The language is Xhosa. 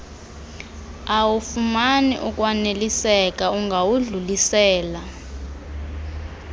awufumani ukwaneliseka ungawudlulisela